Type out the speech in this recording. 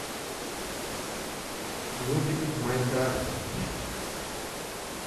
нубик в майнкрафте